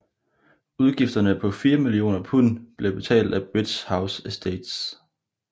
Udgifterne på fire millioner pund blev betalt af Bridge House Estates